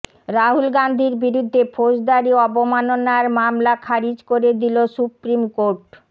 রাহুল গান্ধীর বিরুদ্ধে ফৌজদারী অবমাননার মামলা খারিজ করে দিল সুপ্রিম কোর্ট